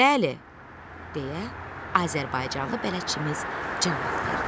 Bəli, deyə azərbaycanlı bələdçimiz cavab verdi.